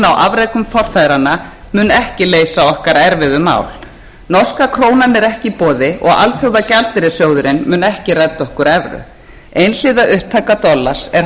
afrekum forfeðranna mun ekki leysa okkar erfiðu mál norska krónan er ekki í boði og alþjóðagjaldeyrissjóðurinn mun ekki redda okkur evru einhliða upptaka dollars er